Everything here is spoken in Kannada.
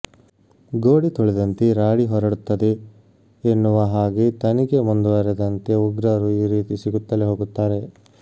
ಗೋಡೆ ತೊಳೆದಂತೆ ರಾಡಿ ಹೊರಡುತ್ತದೆ ಎನ್ನುವ ಹಾಗೆ ತನಿಖೆ ಮುಂದುವರೆದಂತೆ ಉಗ್ರರು ಈ ರೀತಿ ಸಿಗುತ್ತಲೇ ಹೋಗುತ್ತಾರೆ